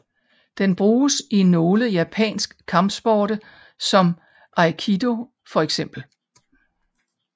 Den bruges i nogle japansk kampsporte som aikido for eksempel